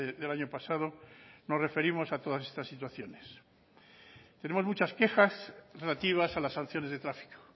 del año pasado nos referimos a todas estas situaciones tenemos muchas quejas relativas a las sanciones de tráfico